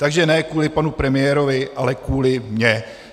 Takže ne kvůli panu premiérovi, ale kvůli mně.